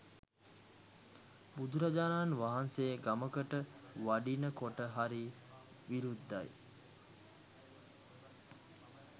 බුදුරජාණන් වහන්සේ ගමකට වඩිනකොට හරි විරුද්ධයි.